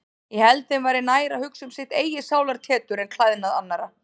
Ég held þeim væri nær að hugsa um sitt eigið sálartetur en klæðnað annarra.